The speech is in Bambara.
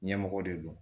Ɲɛmɔgɔ de don